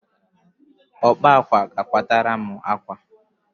Ọkpa àkwá ga-akwatara m àkwá!